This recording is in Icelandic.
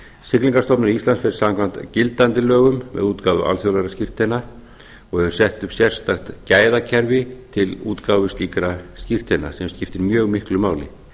siglingastofnun íslands fer samkvæmt gildandi lögum með útgáfu alþjóðlegra skírteina og er sett upp sérstakt gæðakerfi til útgáfu slíkra skírteina sem skiptir mjög miklu máli